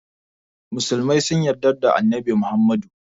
musulmai sun yadda da Annabi Muhammadu.